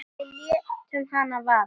Við létum hana vaða.